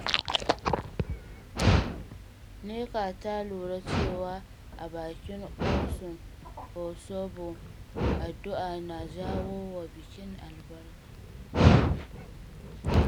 Nneka ta lura cewa a bikin Ọsún Òṣogbo, addu’a na jawo wa bikin albarka.